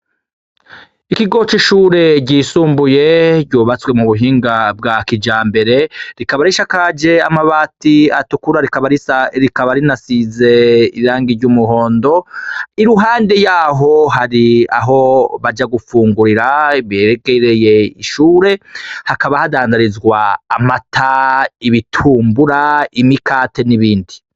Ikigo c‘ ishure ryisumbuye, ryubatswe mu buhinga bwa kijambere, rikaba risakajwe n‘ amabati atukura rikaba rinasize irangi ry‘ umuhondo, i ruhande yaho hari aho baja gufungurira hegereye ishure, hakaba hadandarizwa amata, ibitumbura, imikate, n‘ ibindi.